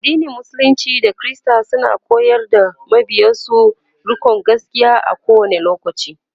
addinin musulunci da kirista suna koyar da mabiyansu rikonda gaskia a kowani lokaci